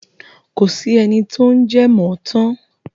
Kò sí ẹni tó ń jẹ mọ̀ ọ̀ tán.